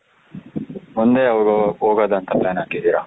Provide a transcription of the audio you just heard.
ಮುಂದೆ ಯಾವಾಗ ಹೋಗೋದು ಅಂತ plan ಹಾಕಿದ್ದೀರಾ